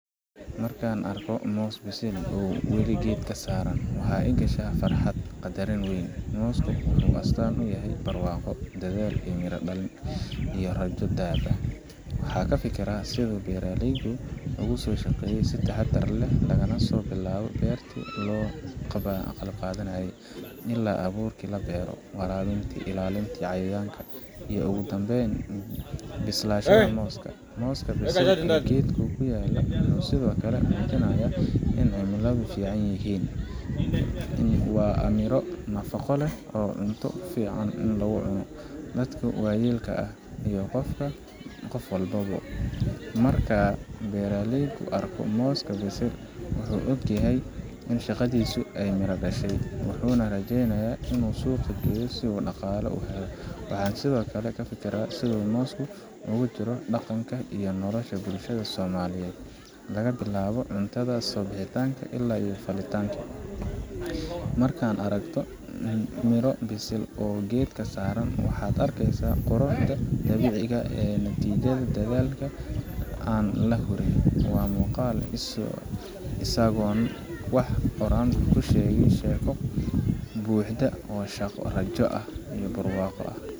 Markaan arko moos bisil oo weli geedka saaran, waxa i gasha farxad iyo qadarin weyn. Moosku wuxuu astaan u yahay barwaaqo, dadaal miro dhalay, iyo rajo dhab ah. Waxaan ka fikiraa sida uu beeraleygu ugu soo shaqeeyay si taxaddar leh laga soo bilaabo beertii oo la qalabeeyay, ilaa abuurkii la beero, waraabintii, ilaalintii cayayaanka, iyo ugu dambeyn bislaanshaha mooska. Mooska bisil ee geedka ku yaalla wuxuu sidoo kale muujinayaa in cimiladu fiican yihiin. Waa miro nafaqo leh oo cunto fiican in lagu cuno, dadka waayeelka ah, iyo qof walba. Marka beeraleygu arko mooskan bisil, wuxuu og yahay in shaqadiisii ay miro dhalayso, wuxuuna rajaynayaa in uu suuqa geeyo si uu dhaqaale u helo. Waxaan sidoo kale ka fikiraa sida moosku ugu jiro dhaqanka iyo nolosha bulshada Soomaaliyeed laga bilaabo cuntada subaxnimo ilaa xafladaha. Markaad aragto midho bisil oo weli geedka saaran, waxaad arkeysaa quruxda dabiiciga ah iyo natiijada dadaal aan la hurin. Waa muuqaal isagoon wax oran kuu sheegaya sheeko buuxda oo shaqo, rajo, iyo barwaaqo ah.